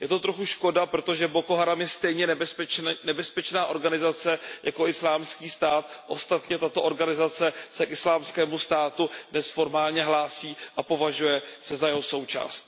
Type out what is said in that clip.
Je to trochu škoda, protože Boko Haram je stejně nebezpečná organizace jako Islámský stát, ostatně tato organizace se k Islámskému státu dnes formálně hlásí a považuje se za jeho součást.